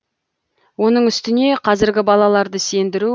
оның үстіне қазіргі балаларды сендіру